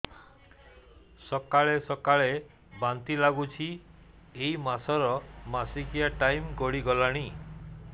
ସକାଳେ ସକାଳେ ବାନ୍ତି ଲାଗୁଚି ଏଇ ମାସ ର ମାସିକିଆ ଟାଇମ ଗଡ଼ି ଗଲାଣି